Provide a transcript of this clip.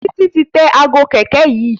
Titi ti tẹ Aago kẹ̀kẹ́ yí.